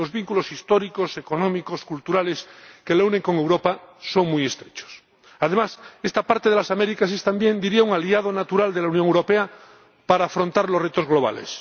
Los vínculos históricos, económicos, culturales que la unen con Europa son muy estrechos. Además, esta parte de las Américas es también, diría, un aliado natural de la Unión Europea para afrontar los retos globales.